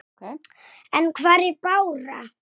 Og þá verður hreint.